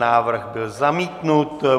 Návrh byl zamítnut.